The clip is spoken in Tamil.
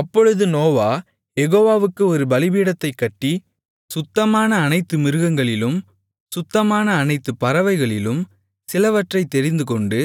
அப்பொழுது நோவா யெகோவாவுக்கு ஒரு பலிபீடத்தைக் கட்டி சுத்தமான அனைத்து மிருகங்களிலும் சுத்தமான அனைத்து பறவைகளிலும் சிலவற்றைத் தெரிந்துகொண்டு